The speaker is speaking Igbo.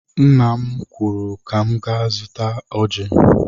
Nna m kwuru na m ga-azụta ọjị.